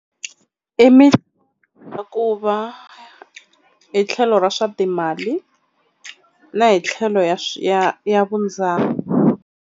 ku va hi tlhelo ra swa timali na hi tlhelo ya ya .